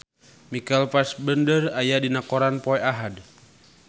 Michael Fassbender aya dina koran poe Ahad